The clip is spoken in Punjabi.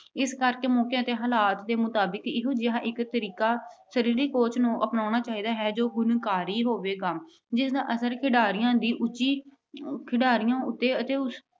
ਇਸ ਕਰਕੇ ਮੌਕੇ ਅਤੇ ਹਾਲਾਤ ਦੇ ਮੁਤਾਬਕ ਇਹੋ ਜਿਹਾ ਇਕ ਤਰੀਕਾ ਸਰੀਰਕ coach ਨੂੰ ਅਪਣਾਉਣਾ ਚਾਹੀਦਾ ਹੈ ਜੋ ਗੁਣਕਾਰੀ ਹੋਵੇਗਾ ਜਿਸ ਦਾ ਅਸਰ ਖਿਡਾਰੀਆਂ ਦੀ ਉਚੀ ਖਿਡਾਰੀਆਂ ਅਤੇ ਉਸ